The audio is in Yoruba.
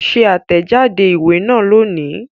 Ṣe àtẹ̀jáde ìwé náà lónìí